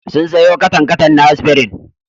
Sun sayo katan-katan na Aspirin.